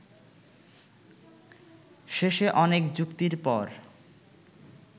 শেষে অনেক যুক্তির পর